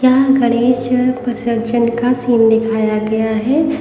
यहाँ गणेश अ विसर्जन का सीन दिखाया गया है।